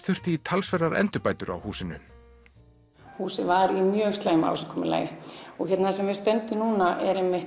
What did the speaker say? þurfti í talsverðar endurbætur á húsinu húsið var í slæmu ásigkomulagi þar sem við stöndum núna